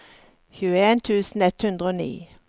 tjueen tusen ett hundre og ni